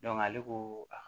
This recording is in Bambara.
ale ko